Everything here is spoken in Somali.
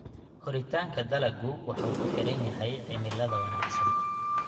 Koritaanka dalaggu wuxuu ku xiran yahay cimilada wanaagsan.